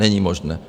Není možné.